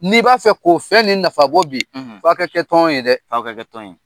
N'i b'a fɛ k'o fɛn ni nafabɔ bi f'a ka kɛ tɔn ye dɛ, a ka kɛ tɔn ye.